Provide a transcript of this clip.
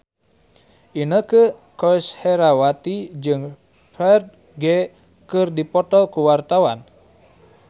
Inneke Koesherawati jeung Ferdge keur dipoto ku wartawan